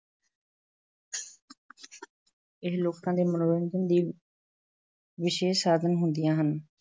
ਇਹ ਲੋਕਾਂ ਦੇ ਮਨੋਰੰਜਨ ਲਈ ਵਿਸ਼ੇਸ਼ ਸਾਧਨ ਹੁੰਦੀਆਂ ਹਨ,